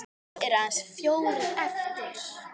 Nú eru aðeins fjórir eftir.